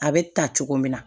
A bɛ ta cogo min na